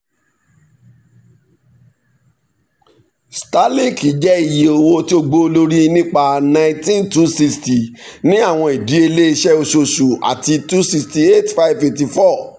starlink jẹ iye owo ti o gbowolori nipa n nineteen thousand two hundred sixty ni awọn idiyele iṣẹ oṣooṣu ati n two hundred sixty eight thousand five hundred eighty four